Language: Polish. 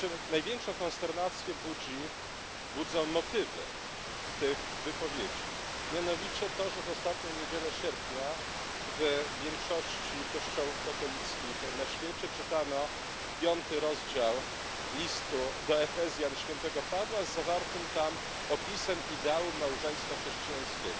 Największą konsternację budzą motywy tych wypowiedzi, mianowicie to, że w ostatnią niedzielę sierpnia w większości kościołów katolickich na świecie czytano piąty rozdział listu do Efezjan świętego Pawła z zawartym tam opisem ideałów małżeństwa chrześcijańskiego.